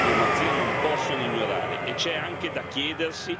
Una crisi che l'Europa e la sua diplomazia non possono ignorare.